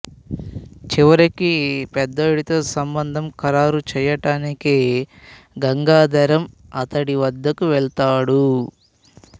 చివరికి పెద్దోడితో సంబంధం ఖరారు చేయడానికి గంగాధరం అతడి వద్దకు వెళతాడు